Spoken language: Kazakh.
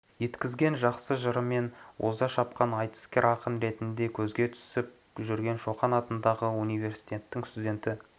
еткізген жақсы жырымен оза шапқан айтыскер ақын ретінде көзге түсіп жүрген шоқан атындағы университеттің студенті